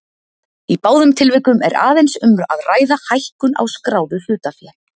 Í báðum tilvikum er aðeins um að ræða hækkun á skráðu hlutafé.